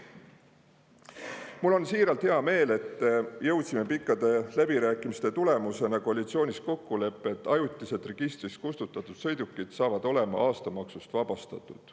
Mul on siiralt hea meel, et jõudsime pikkade läbirääkimiste tulemusena koalitsioonis kokkuleppele, et ajutiselt registrist kustutatud sõidukid saavad olema aastamaksust vabastatud.